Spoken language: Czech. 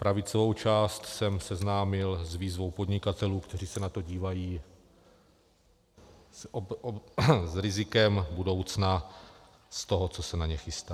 Pravicovou část jsem seznámil s výzvou podnikatelů, kteří se na to dívají s rizikem budoucna z toho, co se na ně chystá.